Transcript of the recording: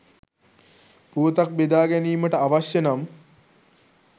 පුවතක් බෙදා ගැනීමට අවශ්‍ය නම්